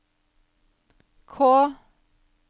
K